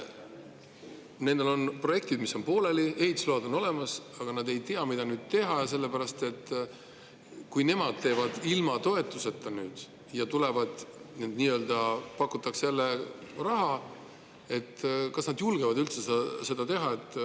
Neil on projektid, mis on pooleli, ehitusload on olemas, aga nad ei tea, mida nüüd teha, sellepärast et kui nad teevad seda ilma toetuseta ja siis pakutakse jälle raha, kas nad siis julgevad seda üldse teha.